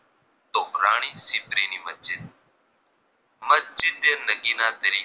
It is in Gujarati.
મસ્જીદે નગીના તરીકે